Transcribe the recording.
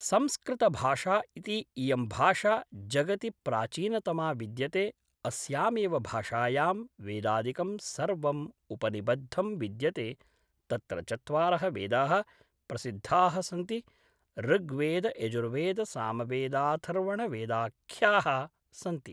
संस्कृतभाषा इति इयं भाषा जगति प्राचीनतमा विद्यते अस्यामेव भाषायां वेदादिकं सर्वम् उपनिबद्धं विद्यते तत्र चत्वारः वेदाः प्रसिद्धाः सन्ति ऋग्वेदयजुर्वेदसामवेदाथर्वणवेदाख्याः सन्ति